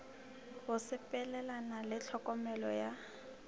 go sepelelana le tlhokomelo ya